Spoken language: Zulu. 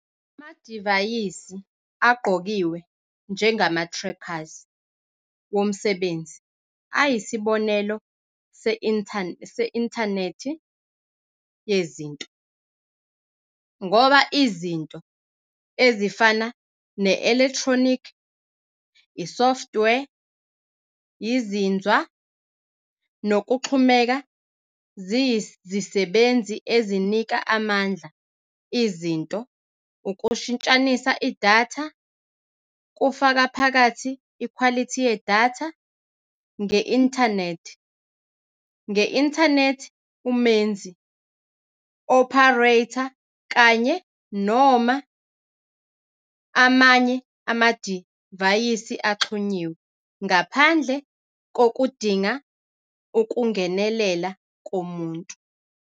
Amadivayisi agqokiwe njengama-trackers womsebenzi ayisibonelo se-Intanethi Yezinto, ngoba "izinto" ezifana ne-elekthronikhi, isoftware, izinzwa, nokuxhumeka ziyizisebenzi ezinika amandla izinto ukushintshanisa idatha, kufaka phakathi ikhwalithi yedatha, nge-inthanethi nge-inthanethi umenzi, opharetha, kanye, noma amanye amadivayisi axhunyiwe, ngaphandle kokudinga ukungenelela komuntu.